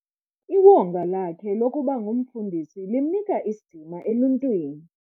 Iwonga lakhe lokuba ngumfundisi limnika isidima eluntwini.